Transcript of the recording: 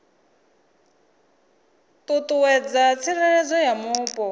ṱuṱuwedza tsireledzo ya mupo na